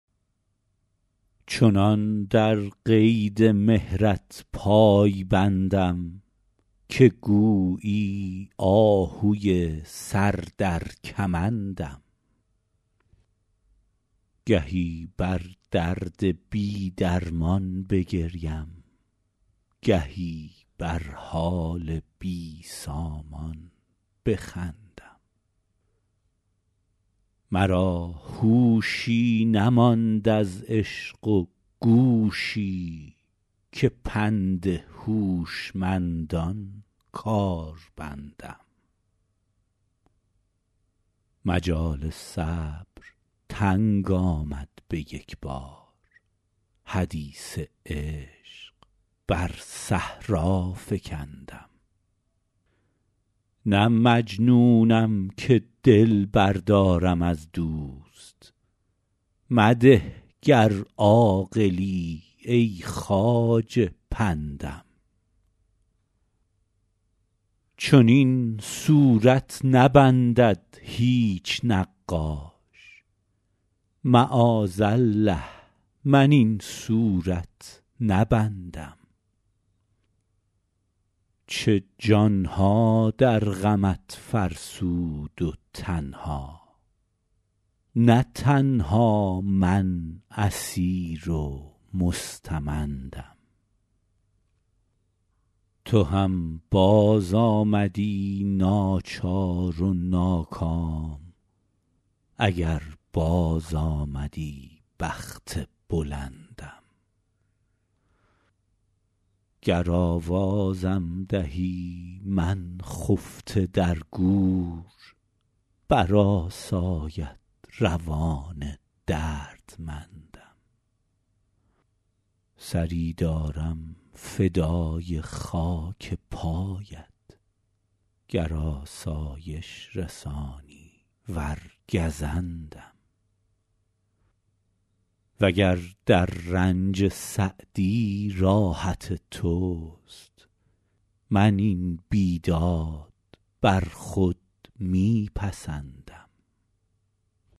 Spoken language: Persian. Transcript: چنان در قید مهرت پای بندم که گویی آهوی سر در کمندم گهی بر درد بی درمان بگریم گهی بر حال بی سامان بخندم مرا هوشی نماند از عشق و گوشی که پند هوشمندان کار بندم مجال صبر تنگ آمد به یک بار حدیث عشق بر صحرا فکندم نه مجنونم که دل بردارم از دوست مده گر عاقلی ای خواجه پندم چنین صورت نبندد هیچ نقاش معاذالله من این صورت نبندم چه جان ها در غمت فرسود و تن ها نه تنها من اسیر و مستمندم تو هم بازآمدی ناچار و ناکام اگر بازآمدی بخت بلندم گر آوازم دهی من خفته در گور برآساید روان دردمندم سری دارم فدای خاک پایت گر آسایش رسانی ور گزندم و گر در رنج سعدی راحت توست من این بیداد بر خود می پسندم